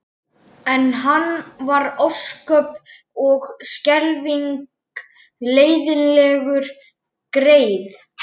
En hann var ósköp og skelfing leiðinlegur greyið.